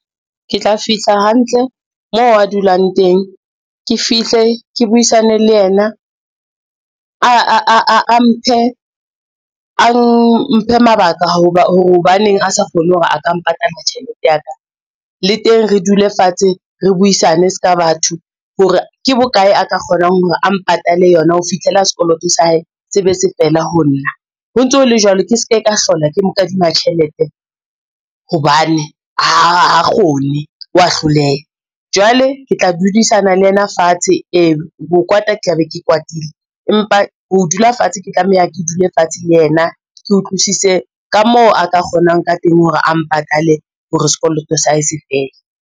Ke tla fihla hantle mo a dulang teng, ke fihle ke buisane le ena, a mphe mabaka hore hobaneng a sa kgone hore a ka mpatalla tjhelete ya ka. Le teng re dule fatshe, re buisane se ka batho hore ke bokae a ka kgonang hore a mpatale yona ho fihlela sekoloto sa hae se be se fela ho nna, ho ntso ho le jwalo ke se ke ka hlola ke mo kadima tjhelete hobane ha kgone wa hloleha. Jwale ke tla dudisane le ena fatshe, ee ho kwata ke tla be ke kwatile empa ho dula fatshe, ke tlameha ke dule fatshe le ena, ke utlwisise ka moo a ka kgonang ka teng hore a mpatale hore sekoloto sa hae se fele.